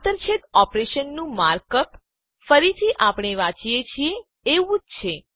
આંતરછેદ ઓપરેશનનું mark up ફરીથી આપણે વાંચીએ છીએ એ જ પ્રમાણે છે